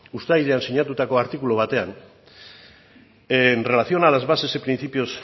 uztailean sinatutako artikulu batean en relación a las bases y principios